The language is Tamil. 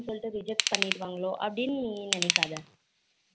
சொல்லிட்டு reject பன்னிருவாங்களோ அப்படினு நீ நினைக்காத